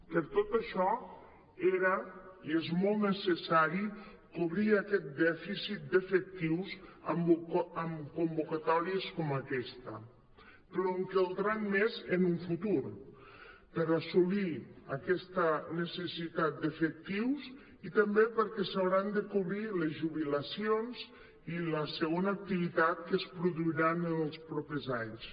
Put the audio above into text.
per tot això era i és molt necessari cobrir aquest dèficit d’efectius amb convoca·tòries com aquesta però en caldran més en un futur per assolir aquesta necessitat d’efectius i també perquè s’hauran de cobrir les jubilacions i la segona activitat que es produiran en els propers anys